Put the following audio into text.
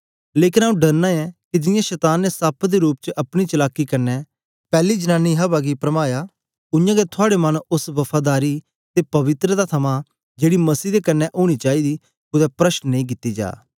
लेकन आंऊँ डरना ऐ के जियां शतान ने सप्प दे रूप च अपनी चलाकी कन्ने पैली जनानी अवा गी परमाया उयांगै थुआड़े मन ओस वफादारी ते पवित्रता थमां जेड़ी मसीह दे क्न्ने ओनी चाईदी कुदै प्रष्ट नेई कित्ती जा